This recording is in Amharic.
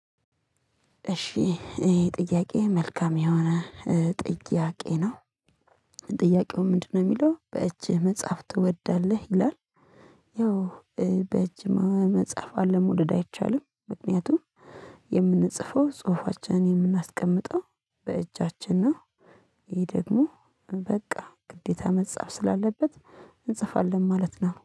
እሺ ይሄ ጥያቄ መልካም የሆነ ጥያቄ ነው ጥያቄው ምንድነው የሚለው በእጅህ መጻፍ ትወዳለህ ይላል። ያው በእጅ መጻፍ አለመውደድ አይቻልም። ምክንያቱም የምንጽፈው ጽሁፋችንን የምናስቀምጠው በእጃችን ነው። ይሄ ደግሞ በቃ ግዴታ መጻፍ ስላለበት እንጽፋለን ማለት ነው